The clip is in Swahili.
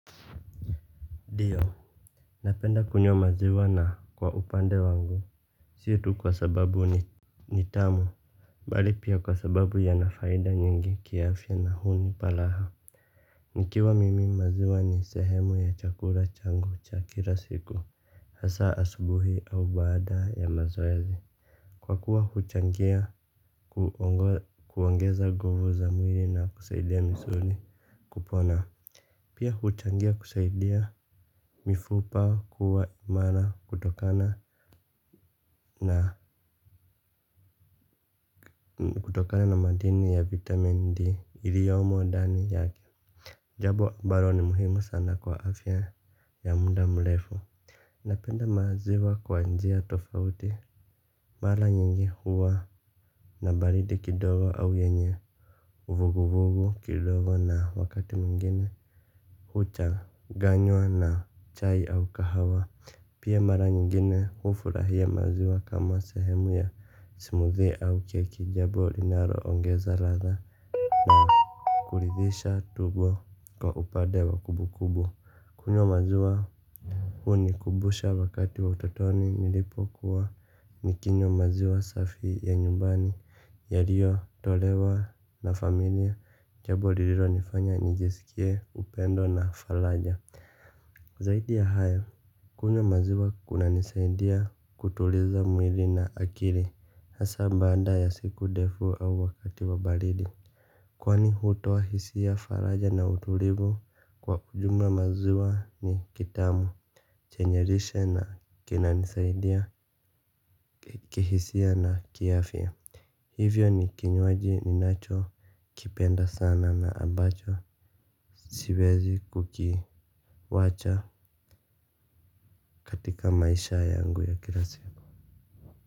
Ndio. Napenda kunywa maziwa na kwa upande wangu. Situ kwa sababu ni ni tamu. Bali pia kwa sababu yanafaida nyingi kiafya na hunipa raha. Nikiwa mimi maziwa ni sehemu ya chakula changu cha kila siku. Hasa asubuhi au baada ya mazoezi. Kwa kuwa huchangia kuongeza nguvu za mwili na kusaidia misuli kupona. Pia huchangia kusaidia mifupa kuwa imara kutokana na kutokana na madini ya vitamin D iliyomo dani yake. Jabo ambalo ni muhimu sana kwa afya ya muda mrefu. Napenda maziwa kwa njia tofauti. Mara nyingi huwa na baridi kidogo au yenye vuguvuvu kidogo na wakati mwingine. Huchanganywa na chai au kahawa. Pia mara nyingine hufurahia maziwa kama sehemu ya smoothie au cake jambo linalo ongeza ladha na kulidhisha tumbo kwa upade wa kumbu kumbu. Kunywa maziwa hunikubusha wakati wa utotoni nilipokuwa nikinywa maziwa safi ya nyumbani yaliyo tolewa na familia jambo lililo nifanya nijisikie upendo na faraja. Zaidi ya haya, kunywa maziwa kuna nisaidia kutuliza mwili na akili. Hasa baada ya siku defu au wakati wa baridi. Kwani hutoa hisia faraja na utulivu kwa ujumla maziwa ni kitamu chenye lishe na kinanisaidia kihisia na kiafya. Hivyo ni kinywaji ninacho kipenda sana na abacho siwezi kukiwacha katika maisha yangu ya kila siku.